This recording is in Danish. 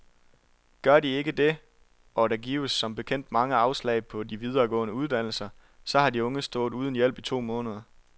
Gør de ikke det, og der gives som bekendt mange afslag på de videregående uddannelser, så har de unge stået uden hjælp i to måneder.